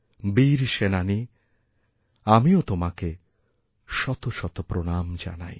বীর সেনানী আমিও তোমাকেশত শত প্রণাম জানাই